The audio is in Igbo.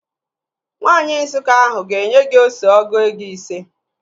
Nwaanyi Nsụka ahụ ga-enye gị ose ọgụ ego ise